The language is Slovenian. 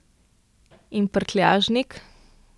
In prtljažnik?